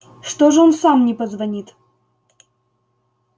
что же он сам не позвонит